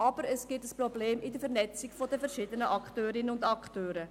Andererseits gibt es ein Problem bei der Vernetzung der verschiedenen Akteurinnen und Akteure.